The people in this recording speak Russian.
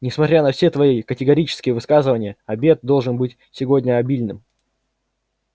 несмотря на все твои категорические высказывания обед должен быть сегодня обильным